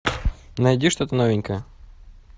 найди что то новенькое